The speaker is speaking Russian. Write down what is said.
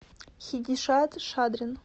хидишад шадрин